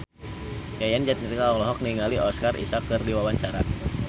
Yayan Jatnika olohok ningali Oscar Isaac keur diwawancara